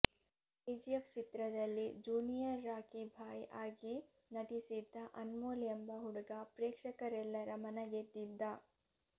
KGF ಚಿತ್ರದಲ್ಲಿ junior Rocky Bhai ಆಗಿ ನಟಿಸಿದ್ದ ಅನ್ಮೋಲ್ ಎಂಬ ಹುಡುಗ ಪ್ರೇಕ್ಷಕರೆಲ್ಲರ ಮನ ಗೆದ್ದಿದ್ದ